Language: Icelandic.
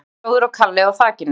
Litli bróðir og Kalli á þakinu